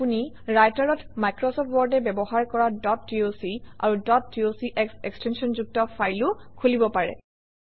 আপুনি Writer অত Microsoft Word এ ব্যৱহাৰ কৰা ডট ডক আৰু ডট ডক্স এক্সটেনশ্যনযুক্ত ফাইলো খুলিব পাৰে